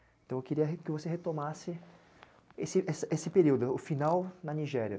Então eu queria que você retomasse esse, esse, esse período, o final, na Nigéria.